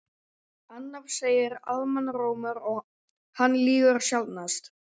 Annað segir almannarómur og hann lýgur sjaldnast.